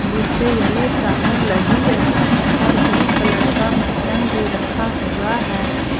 इसपे येलो चादर लगी है और ब्लू का मसलन भी रखा हुआ है।